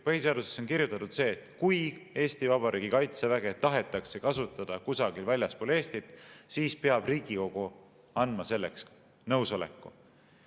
Põhiseadusesse on kirjutatud see, et kui Eesti Vabariigi kaitseväge tahetakse kasutada kusagil väljaspool Eestit, siis peab Riigikogu andma selleks nõusoleku.